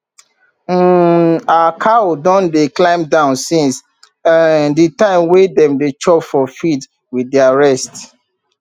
um our cow don dey calm down since um the time wey dem dey chop for field with their rest